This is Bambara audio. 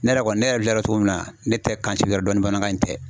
Ne yɛrɛ kɔni ne yɛrɛ filɛ cogo min na ne tɛ kan si wɛrɛ dɔn bamanankan in tɛ